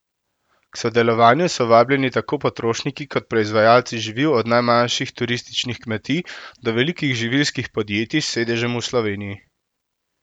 K sodelovanju so vabljeni tako potrošniki kot proizvajalci živil od najmanjših turističnih kmetij do velikih živilskih podjetij s sedežem v Sloveniji.